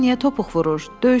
Dilin niyə topuq vurur?